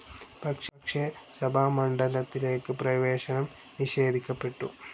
പക്ഷെ സഭാമണ്ഡപത്തിലേക്ക് പ്രവേശനം നിഷേധിക്കപ്പെട്ടു.